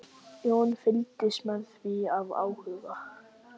Jón fylgdist með því af áhuga.